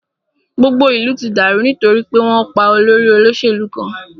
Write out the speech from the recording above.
Gbogbo ìlú ti dàrú nítorí pé wọn pá olórí olóṣèlú kan.